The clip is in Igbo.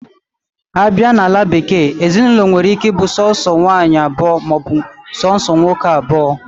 Abia na ala bekee, Ezinaụlọ nwere ike bu sonso nwaanyi abuo ma obu sonso nwoke abuo.